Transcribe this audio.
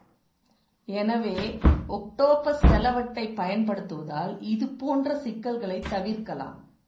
எனவே ஒக்டோப்பஸ் செலவட்டைப் பயன்படுத்துவதால் இதுப்போன்ற சிக்கல்களை தவிர்க்கலாம்